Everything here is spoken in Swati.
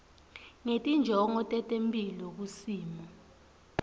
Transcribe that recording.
ngetinjongo tetemphilo kusimo